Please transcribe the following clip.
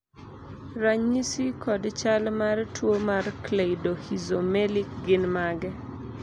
ranyisi kod chal mar tuo mar Cleidorhizomelic gin mage?